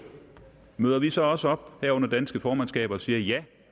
møder vi så også op her under det danske formandskab og siger ja